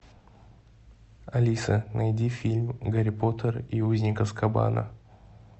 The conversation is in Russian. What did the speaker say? алиса найди фильм гарри поттер и узник азкабана